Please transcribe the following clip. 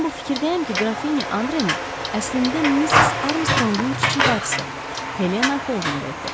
Mən bu fikirdəyəm ki, Qrafinya Andreni əslində Missis Armstrongun kiçik bacısı Helena Qoldenberqdir.